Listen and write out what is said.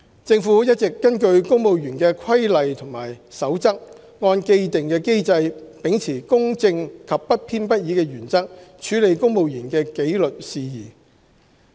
政府一直根據公務員的規例和守則，按既定機制，秉持公正及不偏不倚的原則處理公務員的紀律事宜。